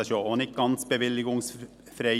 Das ist ja auch nicht ganz bewilligungsfrei.